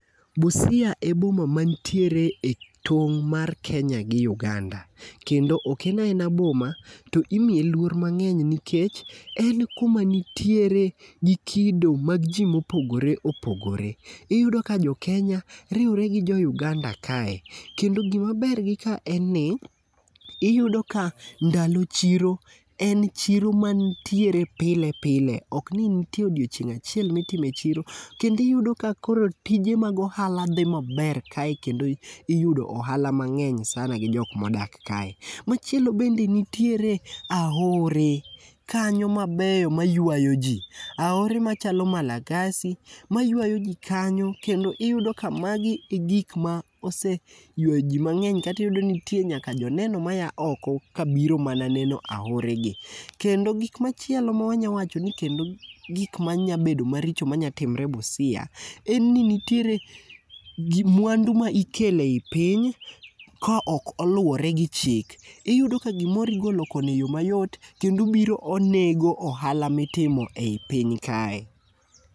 Busia e boma mantiere e tong' mar Kenya gi Uganda, kendo ok en aena boma to imiye luor mang'eny nikech en kumaa nitiere gi kido mag ji mopoore opogore. Iyudo ka jo Kenya riwre gi jo Uganda kae kendo gi maber gi ka en ni iyudo ka ndalo chiro en chiro mantiere pile pile ok ni en odiechieng' achiel mitime chiro kendo yudo ka koro tije mag ohala dhi maber kae kendo koro iyudo ohala mang'eny sana gi jok modak kae. Machielo bende nitiere aore kanyo mabeyo ma yuayo ji, aore machalo Malakasi mayuayo ji kanyo kendo iyudo ka magi e gik ma ose yuayo ji mang'eny kendo iyudo ka nitie nyaka jo neno maa oko kabiro mana neno aoregi. Kend gik machielo manyawacho maricho ma nyalo timore Busia en ni nitiere mwandu ma ikelo ei piny ka ok oluwore gi chik, iyudo ka gimoro igolo koni e yoo mayot kendo obiro onego ohala mitimo ei piny kae.